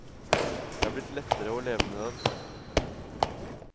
Det er blitt lettere å leve med den.